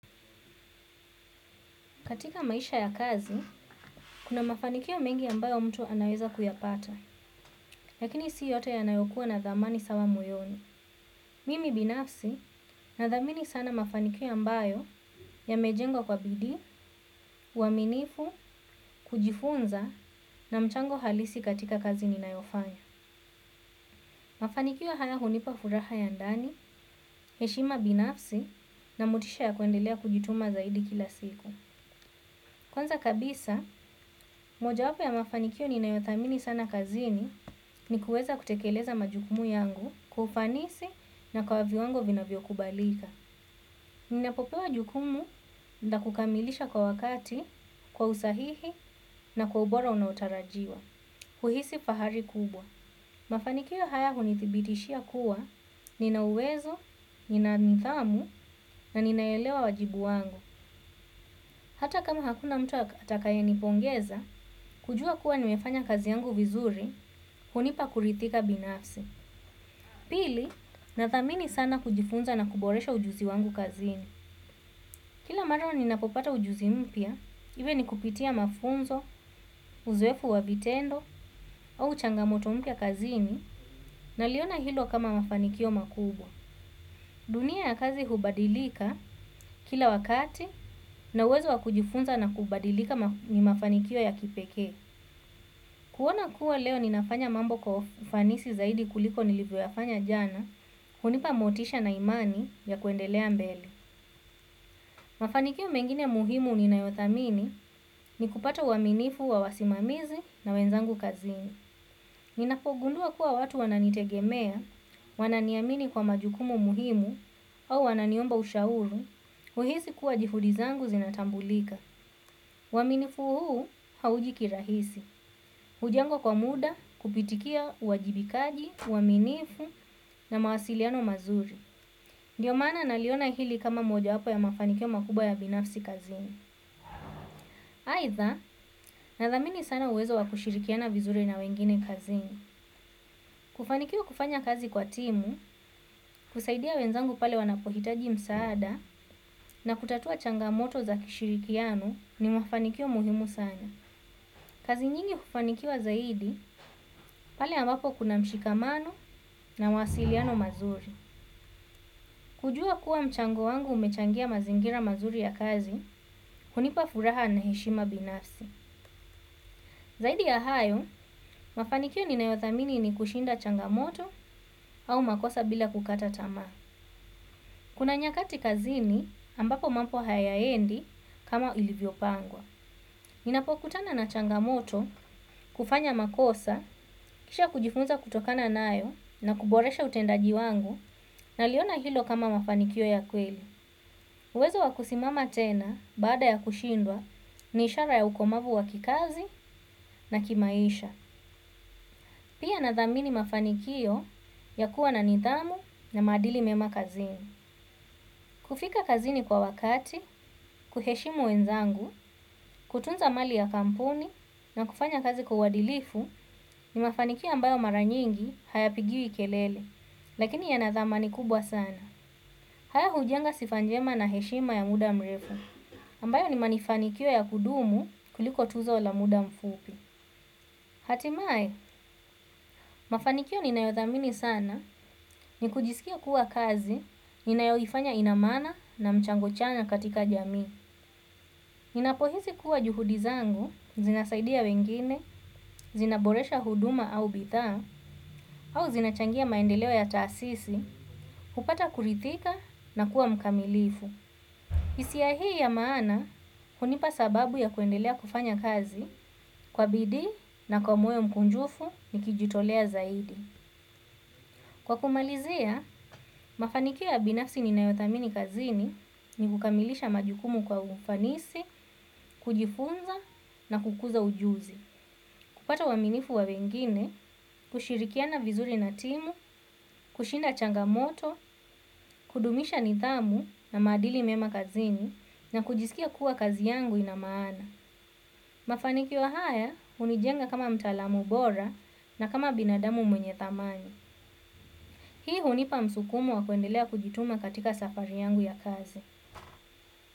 Katika maisha ya kazi, kuna mafanikio mengi ambayo mtu anaweza kuyapata, lakini si yote yanayokua na thamani sawa moyoni. Mimi binafsi nadhamini sana mafanikio ambayo yamejengwa kwa bidii, uaminifu, kujifunza na mchango halisi katika kazi ninayofanya. Mafanikio haya hunipa furaha ya ndani, heshima binafsi na motisha ya kuendelea kujituma zaidi kila siku. Kwanza kabisa, mojawapo ya mafanikio ninayothamini sana kazini ni kuweza kutekeleza majukumu yangu kwa ufanisi na kwa viwango vinavyokubalika. Ninapopewa jukumu nakukamilisha kwa wakati, kwa usahihi na kwa ubora unaotarajiwa. Kuhisi fahari kubwa. Mafanikio haya hunithibitishia kuwa nina uwezo, nina nidhamu na ninaelewa wajibu wangu. Hata kama hakuna mtu atakayenipongeza, kujua kuwa nimefanya kazi yangu vizuri, hunipa kuridhika binafsi. Pili, nathamini sana kujifunza na kuboresha ujuzi wangu kazini. Kila mara ninapopata ujuzi mpya, iwe ni kupitia mafunzo, uzoefu wa vitendo, au changamoto mpya kazini, naliona hilo kama mafanikio makubwa. Dunia ya kazi hubadilika kila wakati na uwezo wa kujifunza na kubadilika ni mafanikio ya kipekee. Kuona kuwa leo ninafanya mambo kwa ufanisi zaidi kuliko nilivyoyafanya jana, hunipa motisha na imani ya kuendelea mbele. Mafanikio mengine muhimu ninayothamini ni kupata uaminifu wa wasimamizi na wenzangu kazini. Ninapogundua kuwa watu wananitegemea, wananiamini kwa majukumu muhimu au wananiomba ushauru, huhisi kuwa jihudi zangu zinatambulika. Uaminifu huu hauji kirahisi hujengwa kwa muda kupitikia uwajibikaji, uaminifu na mawasiliano mazuri. Ndiyo maana naliona hili kama moja hapa ya mafanikio makubwa ya binafsi kazini aidha, nathamini sana uwezo wa kushirikiana vizuri na wengine kazini. Kufanikio kufanya kazi kwa timu, kusaidia wenzangu pale wanapohitaji msaada na kutatua changamoto za kishirikiano ni mafanikio muhimu sanya. Kazi nyingi kufanikiwa zaidi, pale ambapo kuna mshikamano na mawasiliano mazuri. Kujua kuwa mchango wangu umechangia mazingira mazuri ya kazi, hunipa furaha na heshima binafsi. Zaidi ya hayo, mafanikio ninayothamini ni kushinda changamoto au makosa bila kukata tamaa. Kuna nyakati kazini ambapo mambo hayaendi kama ilivyopangwa. Ninapokutana na changamoto, kufanya makosa, kisha kujifunza kutokana nayo na kuboresha utendaji wangu naliona hilo kama mafanikio ya kweli. uWezo wa kusimama tena baada ya kushindwa ni ishara ya ukomavu wa kikazi na kimaisha. Pia nathamini mafanikio ya kuwa na nidhamu na maadili mema kazini. Kufika kazini kwa wakati, kuheshimu wenzangu, kutunza mali ya kampuni na kufanya kazi kwa uadilifu ni mafanikio ambayo mara nyingi hayapigiwi kelele, lakini yana thamani kubwa sana. Haya hujenga sifa njema na heshima ya muda mrefu, ambayo ni manifanikio ya kudumu kuliko tuzo la muda mfupi. Hatimae, mafanikio ninayothamini sana ni kujisikia kuwa kazi ninayoifanya ina maana na mchango chanya katika jamii. Ninapohisi kuwa juhudi zangu, zinasaidia wengine, zinaboresha huduma au bidhaa, au zinachangia maendeleo ya taasisi, hupata kurithika na kuwa mkamilifu. hIsia hii ya maana, hunipa sababu ya kuendelea kufanya kazi, kwa bidii na kwa moyo mkunjufu nikijitolea zaidi. Kwa kumalizia, mafanikio ya binafsi ninayotamini kazini ni kukamilisha majukumu kwa ufanisi, kujifunza na kukuza ujuzi. Kupata uaminifu wa wengine, kushirikiana vizuri na timu, kushinda changamoto, kudumisha nidhamu na maadili mema kazini na kujisikia kuwa kazi yangu ina maana. Mafanikio haya hunijenga kama mtaalamu bora na kama binadamu mwenye thamani. Hii hunipa msukumo wa kuendelea kujituma katika safari yangu ya kazi.